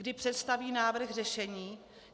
Kdy představí návrh řešení?